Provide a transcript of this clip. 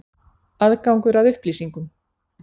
Aðgangur að upplýsingum.